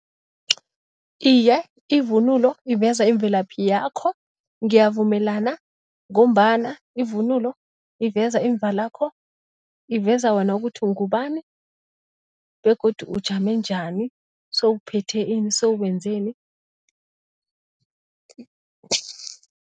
Iye, ivunulo iveza imvelaphi yakho ngiyavumelana ngombana ivunulo iveza imvalakho, iveza wena ukuthi ungubani begodu ujame njani, sewuphethe ini, sewenzeni.